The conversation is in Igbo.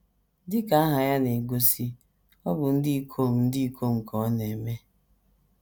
Dị ka aha ya na - egosi, ọ bụ ndị ikom ndị ikom ka ọ na - eme.